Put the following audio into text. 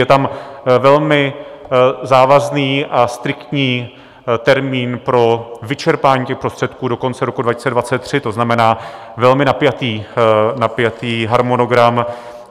Je tam velmi závazný a striktní termín pro vyčerpání těch prostředků do konce roku 2023, to znamená velmi napjatý harmonogram.